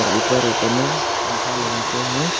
ऊपर ऊपर में पंखा लगा के हैं।